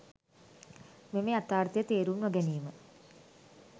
මෙම යථාර්ථය තේරුම් නොගැනීම